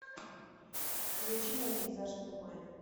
включи мне пейзаж в тумане